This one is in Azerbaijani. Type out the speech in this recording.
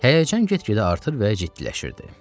Həyəcan get-gedə artır və ciddiləşirdi.